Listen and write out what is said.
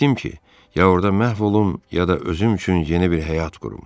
Getdim ki, ya orada məhv olum, ya da özüm üçün yeni bir həyat qurum.